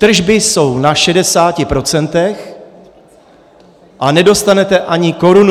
Tržby jsou na šedesáti procentech, ale nedostanete ani korunu!